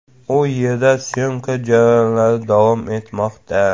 U yerda syomka jarayonlari davom etmoqda.